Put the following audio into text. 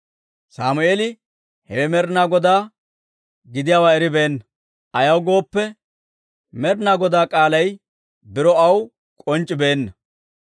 Sammeeli hewe Med'inaa Godaa gidiyaawaa eribeenna; ayaw gooppe, Med'inaa Godaa k'aalay biro aw k'onc'c'ibeenna.